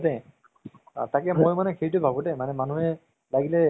entertainment ও হয় আৰু তাৰ পৰা কিছুমান কথাও শিকিব পোৱা যায়।